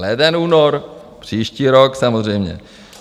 Leden, únor, příští rok, samozřejmě.